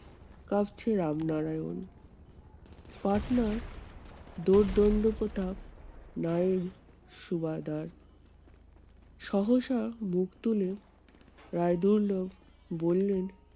কাঁপছে রামনারায়ণ। পাটনার দর্দুন্ডপ্রতাপ নায়েব সুবাদার সহসা মুখ তুলে রায়দুল্লা বললেন